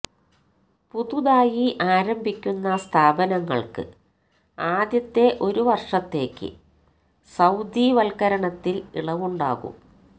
പുതുതായി ആരംഭിക്കുന്ന സ്ഥാപനങ്ങള്ക്ക് ആദ്യത്തെ ഒരു വര്ഷത്തേക്ക് സൌദിവത്കരണത്തില് ഇളവുണ്ടാകും